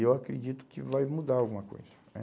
E eu acredito que vai mudar alguma coisa, né?